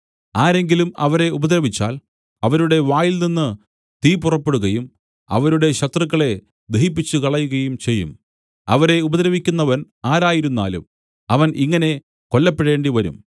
ആരെങ്കിലും അവരെ ഉപദ്രവിച്ചാൽ അവരുടെ വായിൽനിന്നു തീ പുറപ്പെടുകയും അവരുടെ ശത്രുക്കളെ ദഹിപ്പിച്ചുകളയുകയും ചെയ്യും അവരെ ഉപദ്രവിക്കുന്നവൻ ആരായിരുന്നാലും അവൻ ഇങ്ങനെ കൊല്ലപ്പെടേണ്ടിവരും